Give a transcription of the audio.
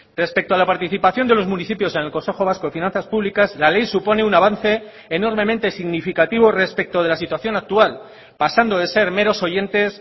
respecto a la participación de los municipios en el consejo vasco de finanzas públicas la ley supone un avance enormemente significativo respecto de la situación actual pasando de ser meros oyentes